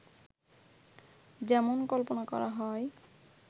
যেমন কল্পনা করা হয়